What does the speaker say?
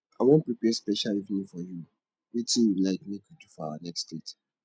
i wan prepare special evening for you wetin you like make we do for our next date